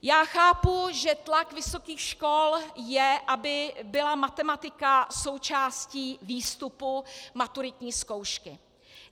Já chápu, že tlak vysokých škol je, aby byla matematika součástí výstupu maturitní zkoušky.